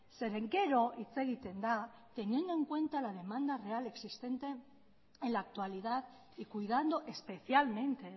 zeren gero hitz egiten da teniendo en cuenta la demanda real existente en la actualidad y cuidando especialmente